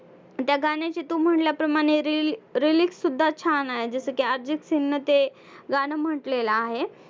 त्या गाण्याचे तू म्हंटल्याप्रमाणे reel lyrics सुद्धा छान आहे जसं की अर्जितसिंगनं ते गाणं म्हंटलेलं आहे.